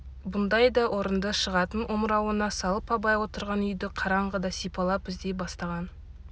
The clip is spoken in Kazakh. бұндай да орынды шығатын омырауына салып абай отырған үйді қараңғыда сипалап іздей бастаған